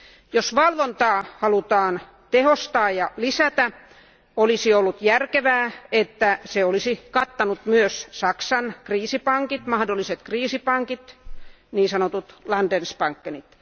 Jos valvontaa halutaan tehostaa ja lisätä, olisi ollut järkevää, että se olisi kattanut myös Saksan kriisipankit, mahdolliset kriisipankit eli Landesbank pankit.